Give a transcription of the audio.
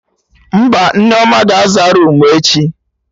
Mba, Nneoma ga-aza roomu echi